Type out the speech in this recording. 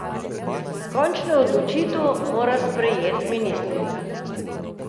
Končno odločitev mora sprejeti ministrica.